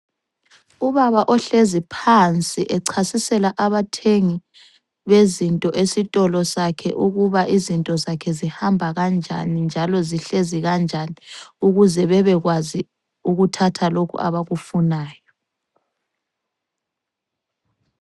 Ubaba ohlezi phansi echasisela abathengi bezinto esitolo sakhe ukuba izinto zakhe zihamba kanjani njalo zihlezi kanjani ukuze bebekwazi ukuthatha lokhu abakufunayo.